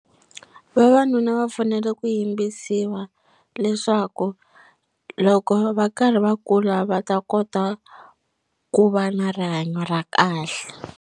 Vavanuna va fanele ku yimbisiwa leswaku loko va karhi va kula va ta kota ku va na rihanyo ra kahle.